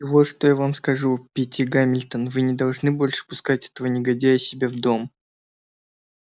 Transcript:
и вот что я вам скажу питти гамильтон вы не должны больше пускать этого негодяя к себе в дом